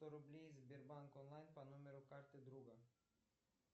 сто рублей сбербанк онлайн по номеру карты друга